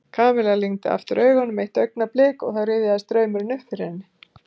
Kamilla lygndi aftur augunum eitt augnablik og þá rifjaðist draumurinn upp fyrir henni.